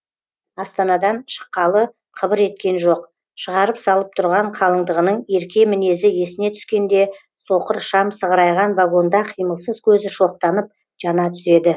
астанадан шыққалы қыбыр еткен жоқ шығарып салып тұрған қалыңдығының ерке мінезі есіне түскенде соқыр шам сығырайған вагонда қимылсыз көзі шоқтанып жана түседі